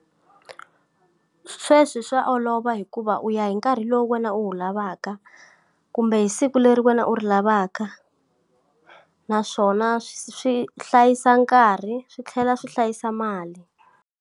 Sweswi swa olova hikuva u ya hi nkarhi lowu wena u wu lavaka, kumbe hi siku leri wena u ri lavaka naswona swi hlayisa nkarhi swi tlhela swi hlayisa mali.